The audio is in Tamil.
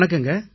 வணக்கங்க